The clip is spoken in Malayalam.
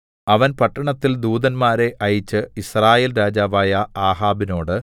അവൻ പട്ടണത്തിൽ ദൂതന്മാരെ അയച്ച് യിസ്രായേൽ രാജാവായ ആഹാബിനോട്